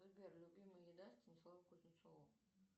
сбер любимая еда станислава кузнецова